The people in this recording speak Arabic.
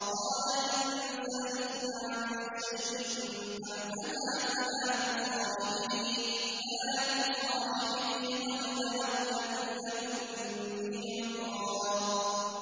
قَالَ إِن سَأَلْتُكَ عَن شَيْءٍ بَعْدَهَا فَلَا تُصَاحِبْنِي ۖ قَدْ بَلَغْتَ مِن لَّدُنِّي عُذْرًا